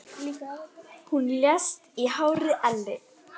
Hún lést í hárri elli.